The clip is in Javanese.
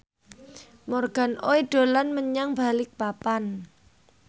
Morgan Oey dolan menyang Balikpapan